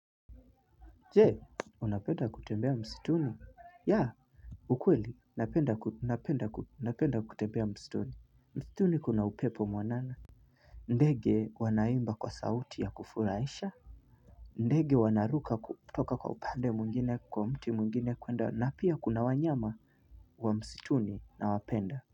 Je unapenda kutembea msituni yeah. Ukweli napenda kutembea msituni. Msituni kuna upepo mwanana ndege wanaimba kwa sauti ya kufurahisha ndege wanaruka kutoka kwa upande mwingine kwa mti mwingine kwenda na pia kuna wanyama wa msituni na wapenda.